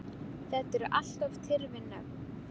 Þetta eru allt of tyrfin nöfn.